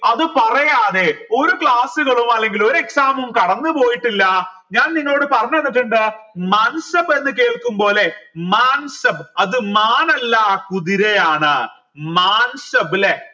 അത് പറയാതെ ഒരു class കളോ അല്ലെങ്കിൽ ഒരു exam ഉം കടന്നു പോയിട്ടില്ല ഞാൻ നിങ്ങളോട് പറഞ്ഞതന്നിട്ടിണ്ട് എന്ന് കേൾക്കുമ്പോ ല്ലെ അത് മാൻ അല്ല കുതിരയാണ് മാൻ സബ് അല്ലെ